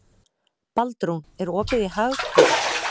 Baldrún, er opið í Hagkaup?